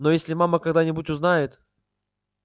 но если мама когда-нибудь узнает